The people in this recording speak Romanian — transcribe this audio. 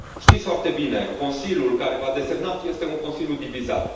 Știți foarte bine, Consiliul care v a desemnat este un Consiliu divizat.